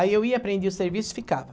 Aí eu ia, aprendia o serviço e ficava.